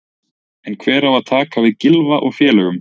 En hver á að taka við Gylfa og félögum?